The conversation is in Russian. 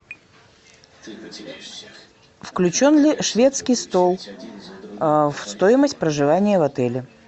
включен ли шведский стол в стоимость проживания в отеле